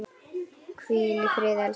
Hvíl í friði, elsku María.